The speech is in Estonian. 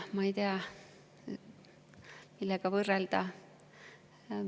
Ma ei teagi, millega võrrelda.